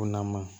Ko nama